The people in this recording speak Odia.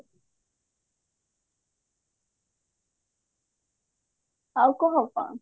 ଆଉ କହ କଣ